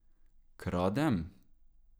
Kradem?